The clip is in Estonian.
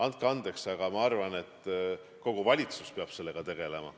Andke andeks, aga ma arvan, et kogu valitsus peab sellega tegelema.